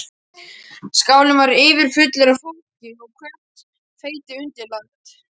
Skálinn var yfirfullur af fólki og hvert fleti undirlagt.